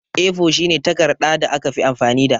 A4 shine takarɗa da aka fi amfani da.